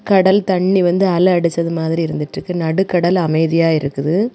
கடல் தண்ணி வந்து அலை அடிச்சிட்டு இருக்க மாதிரி இருக்கு நடுக்கடல் அமைதியா இருக்கு.